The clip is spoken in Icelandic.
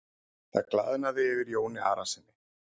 Það glaðnaði yfir Jóni Arasyni.